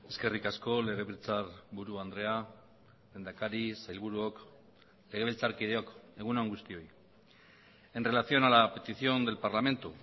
eskerrik asko legebiltzarburu andrea lehendakari sailburuok legebiltzarkideok egun on guztioi en relación a la petición del parlamento